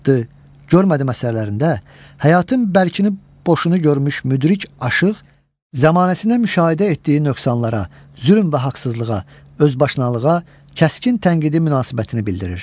Çıxıbdı, görmədi əsərlərində həyatın bərkini boşunu görmüş müdrik aşıq, zamanəsinə müşahidə etdiyi nöqsanlara, zülm və haqsızlığa, özbaşınalığa kəskin tənqidi münasibətini bildirir.